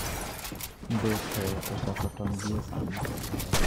Be pe ochako ton gie sani?